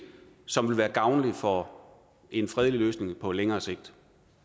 som vil være gavnlig for en fredelig løsning på længere sigt